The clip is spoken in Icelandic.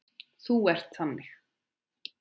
Þú ert þannig.